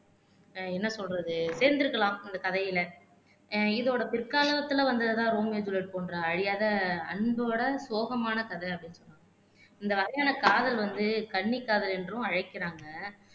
ஆஹ் என்ன சொல்றது சேர்ந்திருக்கலாம் அந்த கதையில இதோட பிற்காலத்துல வந்ததுதான் ரோமியோ ஜூலியட் போன்ற அழியாத அன்போட சோகமான கதை அப்படின்னு சொல்லிறுக்கு இந்த வகையான காதல் வந்து கண்ணி காதல் என்றும் அழைக்கிறாங்க